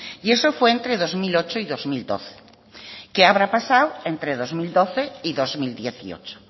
y eso fue entre dos mil ocho y dos mil doce qué habrá pasado entre dos mil doce y dos mil dieciocho